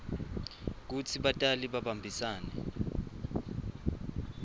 kutsi batali babambisane